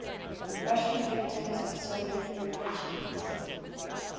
russian victims of soviet repressions